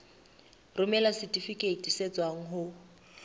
romela setifikeiti se tswang ho